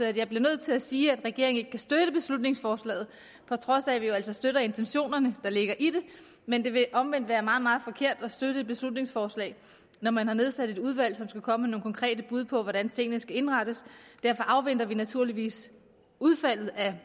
at jeg bliver nødt til at sige at regeringen ikke kan støtte beslutningsforslaget på trods af at vi jo altså støtter intentionerne der ligger i det men det vil omvendt være meget meget forkert at støtte et beslutningsforslag når man har nedsat et udvalg som skal komme med nogle konkrete bud på hvordan tingene skal indrettes derfor afventer vi naturligvis udfaldet af